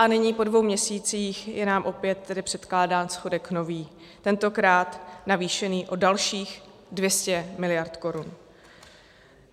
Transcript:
A nyní, po dvou měsících, je nám opět tedy předkládán schodek nový, tentokrát navýšený o dalších 200 miliard korun.